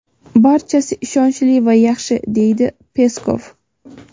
"Barchasi ishonchli va yaxshi", deydi Peskov.